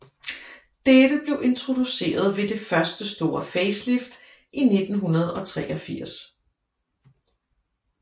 Dette blev introduceret ved det første store facelift i 1983